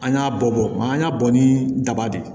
An y'a bɔ maa an y'a bɔ ni daba de ye